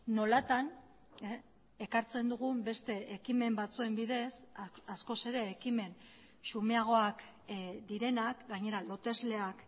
nolatan ekartzen dugun beste ekimen batzuen bidez askoz ere ekimen xumeagoak direnak gainera lotesleak